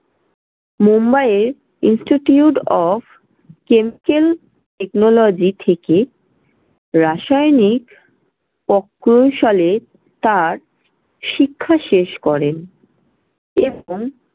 মুম্বাইয়ে institute of chemical technology থেকে রাসায়নিক প্রকৌশলে তার শিক্ষা শেষ করেন এবং